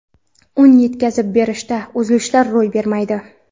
Un yetkazib berishda uzilishlar ro‘y bermaydi.